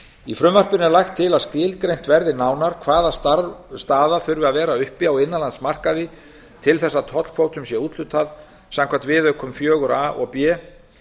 í frumvarpinu er lagt til að skilgreint verði nánar hvaða staða þurfi að vera uppi á innanlandsmarkaði til þess að tollkvótum sé úthlutað samkvæmt viðaukum iva og b